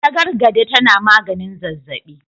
Tagargade tana maganin zazzabi.